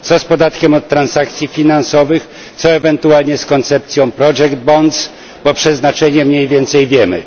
Co z podatkiem od transakcji finansowych, co ewentualnie z koncepcją project bonds bo ich przeznaczenie mniej więcej znamy.